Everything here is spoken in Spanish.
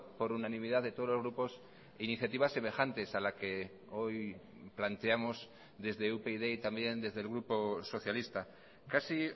por unanimidad de todos los grupos iniciativas semejantes a la que hoy planteamos desde upyd y también desde el grupo socialista casi